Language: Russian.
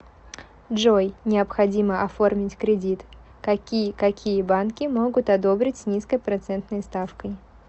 джой необходимо оформить кредит какие какие банки могут одобрить с низкой процентной ставкой